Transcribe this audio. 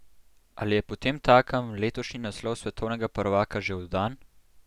Ali je potemtakem letošnji naslov svetovnega prvaka že oddan?